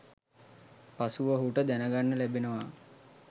පසුව ඔහුට දැනගන්න ලැබෙනවා.